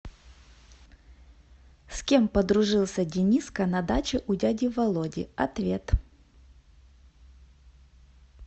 с кем подружился дениска на даче у дяди володи ответ